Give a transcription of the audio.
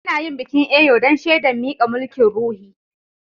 Ana yin bikin Eyo dan shedan mika mulki'n ruhi.